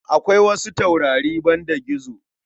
Akwai wasu taurari banda gizo.